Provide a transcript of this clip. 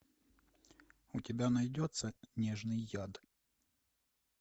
у тебя найдется нежный яд